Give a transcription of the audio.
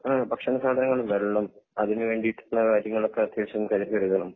ആഹ് ഭക്ഷണ സാധങ്ങൾ വെള്ളം അതിന് വേണ്ടിട്ടുള്ള കാര്യങ്ങൾ ഒക്കെ അത്യാവിശം കയ്യിൽ കരുതണം